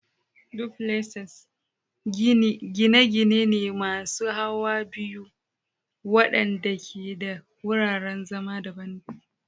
Duplexes gine-gine ne masu hawa biyu waɗanda ke da wuraren zama daban.